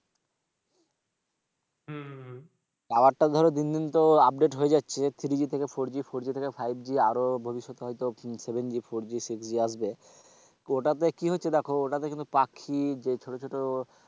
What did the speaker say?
tower টা ধরো দিন দিন তো update হয়ে যাচ্ছে থ্রি জি থেকে ফোর জি, ফোর জি থেকে ফাইভ জি আরও ভবিষ্যতে হয়তো seven G, four G, six G আসবে। ওটাতে কি হচ্ছে দেখো ওটাতে কিন্তু পাখি যে ছোট ছোট,